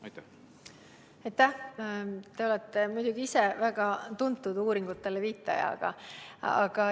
Te ise olete muidugi väga tuntud uuringutele viitaja.